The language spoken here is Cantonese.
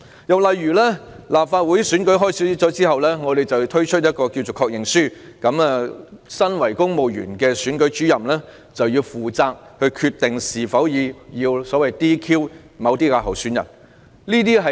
又例如在立法會選舉開始後，政府推出所謂的"確認書"，由身為公務員的選舉主任決定是否要將某些候選人 "DQ"。